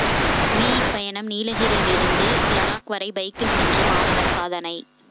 me பயணம் நீலகிரியிலிருந்து லடாக் வரை பைக்கில் சென்று மாணவர் சாதனை